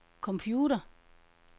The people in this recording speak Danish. computer